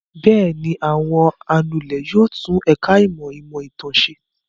Bẹ́ẹ̀ ni, àwọn anulẹ̀ yóò tún ẹ̀ka-ìmọ̀ ìmọ̀-ìtàn ṣe.